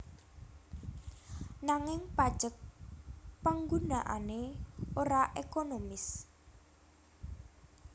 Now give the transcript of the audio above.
Nanging pajek panggunaané ora ekonomis